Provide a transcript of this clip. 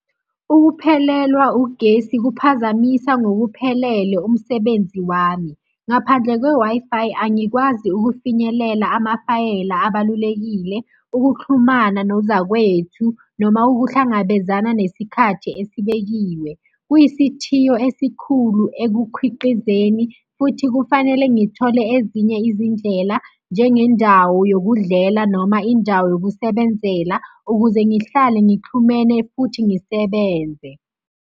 Ukuphelelwa ugesi kuphazamisa ngokuphelele umsebenzi wami. Ngaphandle kwe-Wi-Fi, angikwazi ukufinyelela amafayela abalulekile, ukuxhumana nozakwethu noma ukuhlangabezana nesikhathi esibekiwe. Kuyisithiyo esikhulu ekukhwiqizeni futhi kufanele ngithole ezinye izindlela njengendawo yokudlela noma indawo yokusebenzela ukuze ngihlale ngixhumene futhi ngisebenze.